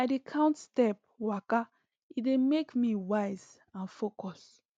i dey count step waka e dey make me wise and focus